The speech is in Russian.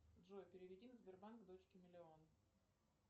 джой переведи на сбербанк дочке миллион